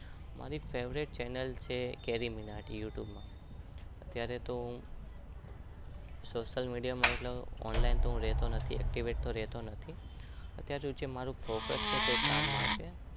મારી એક favourite channel છે કેરી મીનાતી